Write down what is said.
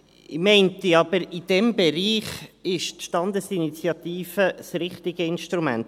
» Ich meine aber, in diesem Bereich sei die Standesinitiative das richtige Instrument.